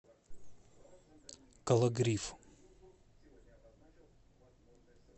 кологрив